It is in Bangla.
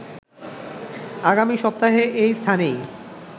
আগামী সপ্তাহে এই স্থানেই